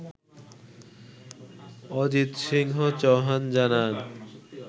অজিত সিংহ চৌহান জানান